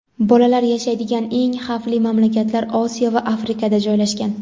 bolalar yashaydigan eng xavfli mamlakatlar Osiyo va Afrikada joylashgan.